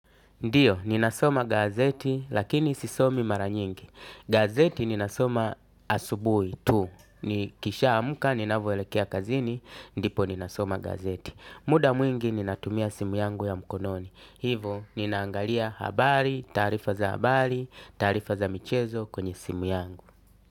Ndiyo, ninasoma gazeti lakini sisomi mara nyingi. Gazeti ninasoma asubuhi tu. Nikishaamka, ninavyoelekea kazini, ndipo ninasoma gazeti. Muda mwingi ninatumia simu yangu ya mkononi. Hivo, ninaangalia habari, taarifa za habari, taarifa za michezo kwenye simu yangu.